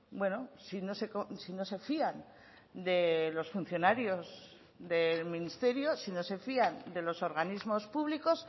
bueno si no se fían de los funcionarios del ministerio si no se fían de los organismos públicos